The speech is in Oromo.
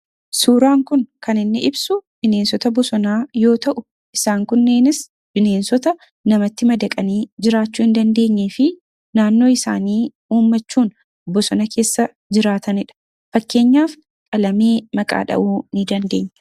Suuraan kun kan inni ibsu bineensota bosonaa yoo ta'u, isaan kunneenis bineensota namatti madaqanii jiraachuu hin dandeenye fi naannoo mataa isaanii uummachuun bosona keessa jiraatanidha. Akka fakkeenyaatti qalamee maqaaa dhahuu dandeenya.